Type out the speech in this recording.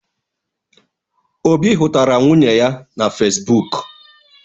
Obi hụtara nwunye ya na Fesbụk.